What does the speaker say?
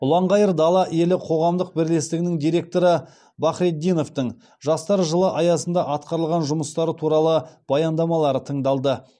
ұланғайыр дала елі қоғамдық бірлестігінің директоры бахретдиновтың жастар жылы аясында атқарылған жұмыстары туралы баяндамалары тыңдалды